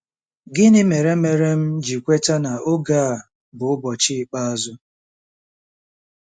’ Gịnị mere mere m ji kweta na oge a bụ “ụbọchị ikpeazụ”? '